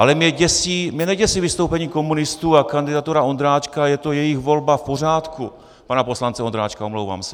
Ale mě neděsí vystoupení komunistů a kandidatura Ondráčka, je to jejich volba, v pořádku, pana poslance Ondráčka, omlouvám se.